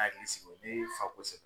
Hakili sigi ne fa kosɛbɛ.